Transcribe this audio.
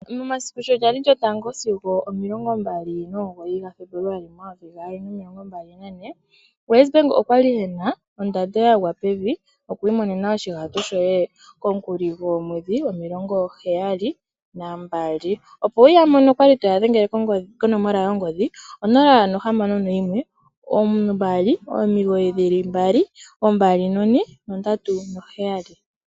Momasiku sho ga li 1-29 Febuluali 2024 WesBank okwali ena ondando yagwa pevi yokwiimonena oshihauto shoye komukuli goomwedhi 72. Opo wu ya mone yadhengela konomola yongodhi 0612992437.